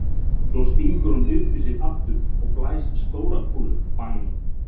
Svo stingur hún því upp í sig aftur og blæs stóra kúlu,- bang!